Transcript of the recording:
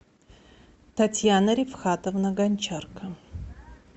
татьяна рифхатовна гончарка